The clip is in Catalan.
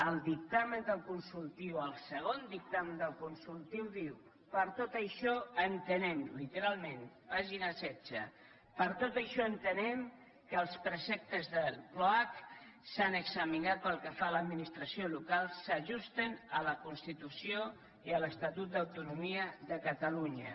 el dictamen del consultiu el segon dictamen del consultiu diu per tot això entenem literalment pàgina setze que els preceptes de l’oac s’han examinat pel que fa a l’administració local s’ajusten a la constitució i a l’estatut d’autonomia de catalunya